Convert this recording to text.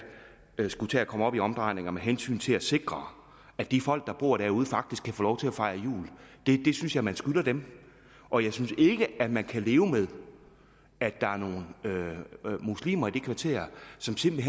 skulle tage at komme op i omdrejninger med hensyn til at sikre at de folk der bor derude faktisk kan få lov til at fejre jul det synes jeg man skylder dem og jeg synes ikke at man kan leve med at der er nogle muslimer i det kvarter som simpelt